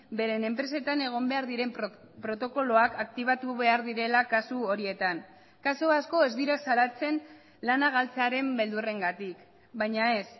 beren enpresetan egon behar diren protokoloak aktibatu behar direla kasu horietan kasu asko ez dira salatzen lana galtzearen beldurrengatik baina ez